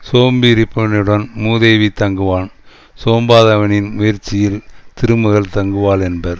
சோம்பி இருப்பவனிடம் மூதேவி தங்குவான் சோம்பாதவனின் முயற்சியில் திருமகள் தங்குவாள் என்பர்